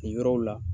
Nin yɔrɔw la